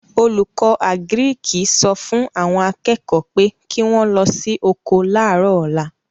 Olùkọ́ àgíríkì sọ fún àwọn akẹ́kọ̀ọ́ pé kí wọ́n lọ sí oko láàrọ̀ ọ̀la